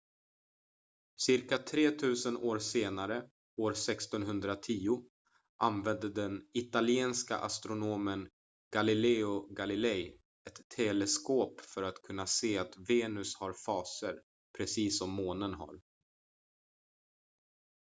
cirka tretusen år senare år 1610 använde den italienske astronomen galileo galilei ett teleskop för att kunna se att venus har faser precis som månen har